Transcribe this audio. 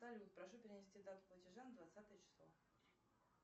салют прошу перенести дату платежа на двадцатое число